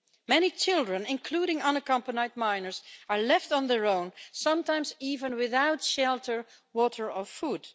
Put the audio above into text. Many children, including unaccompanied minors, are left on their own, sometimes even without shelter, water or food.